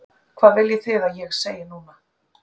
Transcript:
Hvað viljið þið að ég segi núna?